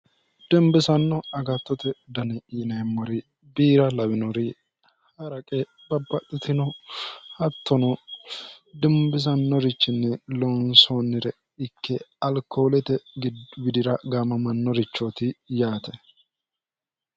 dimbisanno agattote dani yineemmori biira lawinori ha'raqe babbaxxitino hattono dimbisannorichinni loonsoonire ikke alkoolete widira gaamamannorichooti yaate